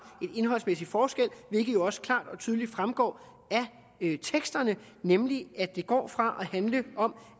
en indholdsmæssig forskel hvilket jo også klart og tydeligt fremgår af teksterne nemlig at det går fra at handle om